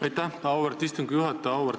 Aitäh, auväärt istungi juhataja!